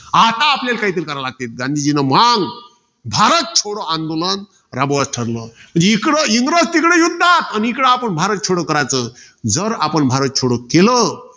आता आपल्याला काहीतरी कराव लागतंय. गांधीजींनी मंग भारत छोडो आंदोलन राबवाच ठरलं. इकडं, इंग्रज तिकडं युद्धात. आणि आपण इकडं भरात छोडो कराच. जर आपण भारत छोडो केलं.